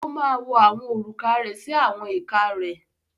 Ó máa wọ àwọn òrùka rẹ̀ sí àwọn ìka rẹ̀.